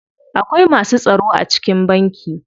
Akwai masu tsaro a cikin banki.